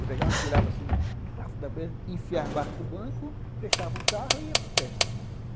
Eu pegava, atirava assim, enfiava embaixo do banco, fechava o carro e ia para a festa.